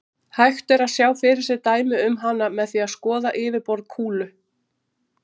Hægt er að sjá fyrir sér dæmi um hana með því að skoða yfirborð kúlu.